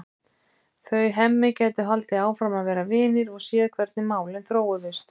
Þau Hemmi gætu haldið áfram að vera vinir og séð hvernig málin þróuðust.